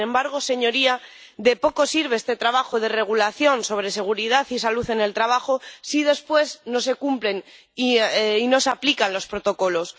Sin embargo, señorías, de poco sirve este trabajo de regulación sobre seguridad y salud en el trabajo si después no se cumplen y no se aplican los protocolos.